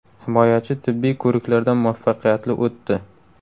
Himoyachi tibbiy ko‘riklardan muvaffaqiyatli o‘tdi.